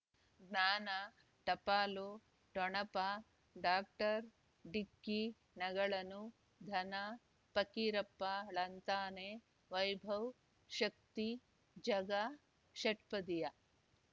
ಜ್ಞಾನ ಟಪಾಲು ಠೊಣಪ ಡಾಕ್ಟರ್ ಢಿಕ್ಕಿ ಣಗಳನು ಧನ ಫಕೀರಪ್ಪ ಳಂತಾನೆ ವೈಭವ್ ಶಕ್ತಿ ಝಗಾ ಷಟ್ಪದಿಯ